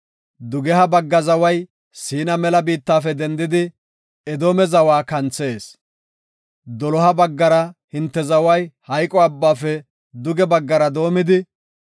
Dugeha bagga zaway Siina mela biittafe dendidi Edoome zawa kanthees. Doloha baggara hinte zaway Maxine Abbaafe duge baggara doomidi,